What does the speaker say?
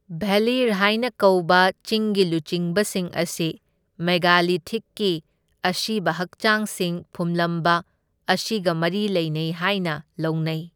ꯚꯦꯂꯤꯔ ꯍꯥꯏꯅ ꯀꯧꯕ ꯆꯤꯡꯒꯤ ꯂꯨꯆꯤꯡꯕꯁꯤꯡ ꯑꯁꯤ ꯃꯦꯒꯥꯂꯤꯊꯤꯛꯀꯤ ꯑꯁꯤꯕ ꯍꯛꯆꯥꯡꯁꯤꯡ ꯐꯨꯝꯂꯝꯕ ꯑꯁꯤꯒ ꯃꯔꯤ ꯂꯩꯅꯩ ꯍꯥꯏꯅ ꯂꯧꯅꯩ꯫